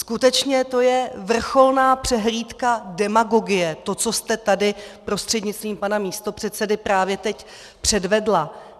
Skutečně to je vrcholná přehlídka demagogie, to, co jste tady prostřednictvím pana místopředsedy právě teď předvedla.